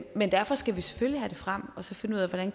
men derfor skal vi selvfølgelig have det frem og finde ud af hvordan